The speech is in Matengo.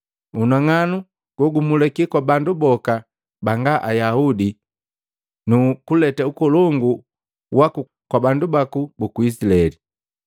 Unang'anu gogumulika kwa bandu boka banga Ayaudi nu kuleta ukolongu waku kwa bandu baku buku Izilaeli.”